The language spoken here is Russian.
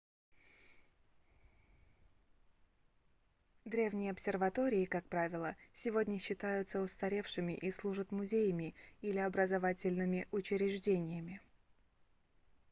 древние обсерватории как правило сегодня считаются устаревшими и служат музеями или образовательными учреждениями